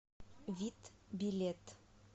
вит билет